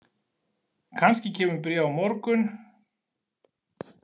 Kannski kemur bréf á morgun.